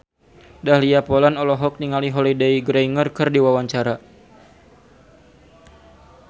Dahlia Poland olohok ningali Holliday Grainger keur diwawancara